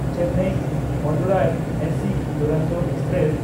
Chennai Madurai AC Duronto express